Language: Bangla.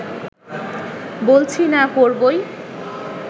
বলছি না করবোই